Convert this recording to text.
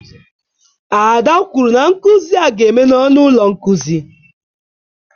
Ada kwuru na nkuzi a ga-eme na ọnụ ụlọ nkuzi.